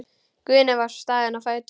Guðni var staðinn á fætur.